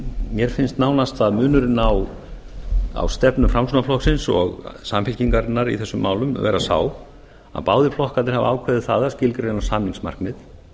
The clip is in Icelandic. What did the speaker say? mér finnst nánast munurinn á stefnu framsóknarflokksins og samfylkingarinnar í þessum málum vera sá að báðir flokkarnir hafa ákveðið það að skilgreina samningsmarkmið